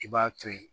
I b'a to ye